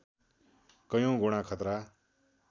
कैयौँ गुणा खतरा